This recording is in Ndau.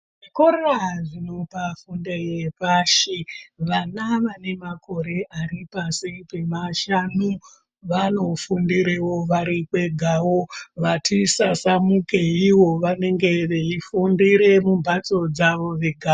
Zvikora zvinopa fundo yepashivana vane makore ari pashi pemashanu vanofundire wo vari kwegavo vati sasamuke vanenge veyifundire mumbatso dzavo vegawo.